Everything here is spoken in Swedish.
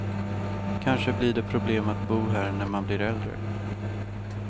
Kanske blir det problem att bo här när man blir äldre.